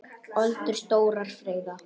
Öldur stórar freyða.